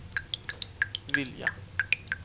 vilja